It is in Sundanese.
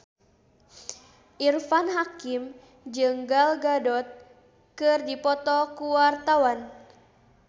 Irfan Hakim jeung Gal Gadot keur dipoto ku wartawan